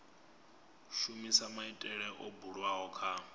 shumisa maitele o bulwaho kha